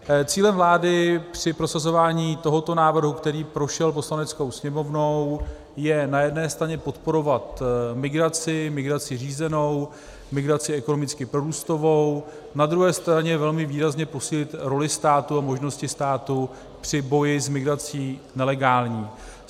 Cílem vlády při prosazování tohoto návrhu, který prošel Poslaneckou sněmovnou, je na jedné straně podporovat migraci, migraci řízenou, migraci ekonomicky prorůstovou, na druhé straně velmi výrazně posílit roli státu a možnosti státu při boji s migrací nelegální.